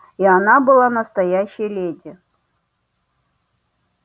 и она была настоящая леди